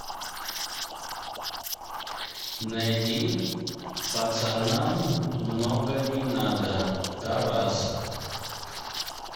найди пацанам много не надо тарас